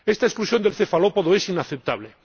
Esta exclusión del cefalópodo es inaceptable.